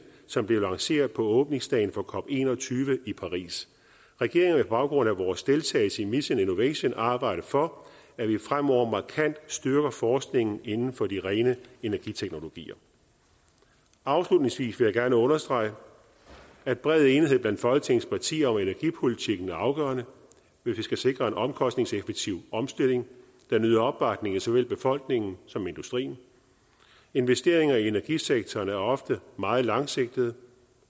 som blev lanceret på åbningsdagen for cop en og tyve i paris regeringen vil på baggrund af vores deltagelse i mission innovation arbejde for at vi fremover markant styrker forskningen inden for de rene energiteknologier afslutningsvis vil jeg gerne understrege at bred enighed blandt folketingets partier om energipolitikken er afgørende hvis vi skal sikre en omkostningseffektiv omstilling der nyder opbakning i såvel befolkningen som industrien investeringer i energisektoren er ofte meget langsigtede